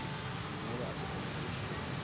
mangolo a sehlopha sa leshome